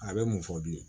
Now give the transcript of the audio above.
A bɛ mun fɔ bilen